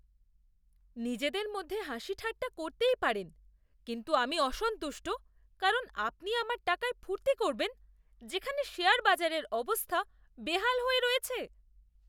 নিজেদের মধ্যে হাসিঠাট্টা করতেই পারেন কিন্তু আমি অসন্তুষ্ট কারণ আপনি আমার টাকায় ফুর্তি করবেন যেখানে শেয়ার বাজারের অবস্থা বেহাল হয়ে রয়েছে?